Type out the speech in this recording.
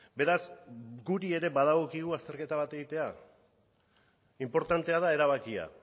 beraz guri ere badagokigu azterketa bat egitea inportantea da erabakia